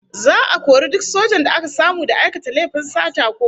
Za'a kori duk sojan da aka samu da aikata laifin sata ko fashi